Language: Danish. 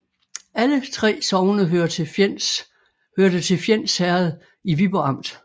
Alle 3 sogne hørte til Fjends Herred i Viborg Amt